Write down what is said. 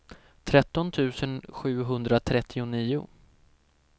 tretton tusen sjuhundratrettionio